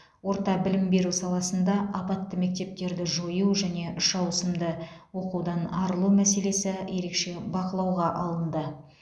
орта білім беру саласында апатты мектептерді жою және үш ауысымды оқудан арылу мәселесі ерекше бақылауға алынды